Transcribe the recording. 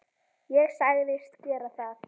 Ég sagðist gera það.